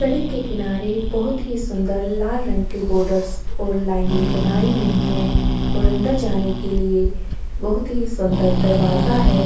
सड़क के किनारे बहोत ही सुँदर लाल रंग के बॉर्डस और लाइनें बनाई हुई हैं और अंदर जाने के लिए बहोत ही सुँदर दरवाज़ा है।